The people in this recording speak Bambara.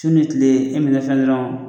Su ni tile e